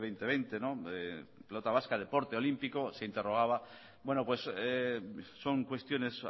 pelota vasca deporte olímpico se interrogaba son cuestiones